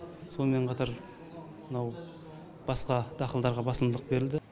сонымен қатар мынау басқа дақылдарға басымдық берілді